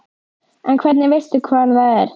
En hvernig veistu hvar það er?